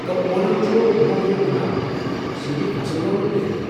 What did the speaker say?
گو٘و اونم چھُ نوٚو وریہہ مناوُن ، سۭتۍ فصل لونٛنُک رٮ۪تھ تہِ۔